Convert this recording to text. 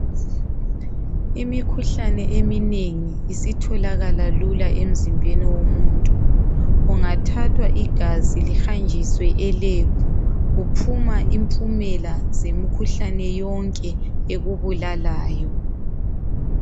Imikhuhlane eminengi isitholakala lula emzimbeni womuntu kungathathwa igazi lihanjiswe elab kuphuma imphumela zemikhuhlane yonke ekubulalayo.